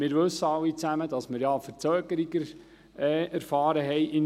Wir wissen alle, dass wir in Biel eine Verzögerung erfahren haben.